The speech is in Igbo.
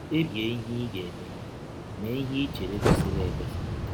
Kpebie ihe ị ga - eme; mee ihe i chere kwesịrị ekwesị. ”